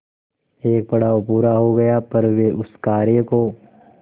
एक पड़ाव पूरा हो गया पर वे उस कार्य को